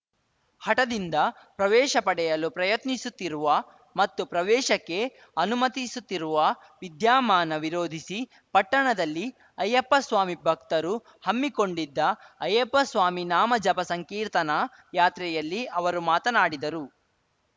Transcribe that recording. ಹಠದಿಂದ ಪ್ರವೇಶ ಪಡೆಯಲು ಪ್ರಯತ್ನಿಸುತ್ತಿರುವ ಮತ್ತು ಪ್ರವೇಶಕ್ಕೆ ಅನುಮತಿಸುತ್ತಿರುವ ವಿದ್ಯಾಮಾನ ವಿರೋಧಿಸಿ ಪಟ್ಟಣದಲ್ಲಿ ಅಯ್ಯಪ್ಪಸ್ವಾಮಿ ಭಕ್ತರು ಹಮ್ಮಿಕೊಂಡಿದ್ದ ಅಯ್ಯಪ್ಪಸ್ವಾಮಿ ನಾಮ ಜಪ ಸಂಕೀರ್ತನಾ ಯಾತ್ರೆಯಲ್ಲಿ ಅವರು ಮಾತನಾಡಿದರು